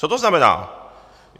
Co to znamená?